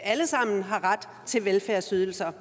alle sammen har ret til velfærdsydelser